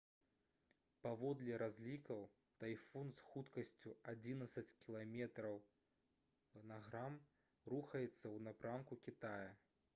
паводле разлікаў тайфун з хуткасцю адзінаццаць км/г рухаецца ў напрамку кітая